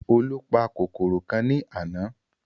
Olú pa kòkòrò kan ní àná